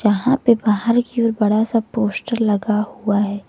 यहां पे बाहर की ओर बड़ा सा पोस्टर लगा हुआ है।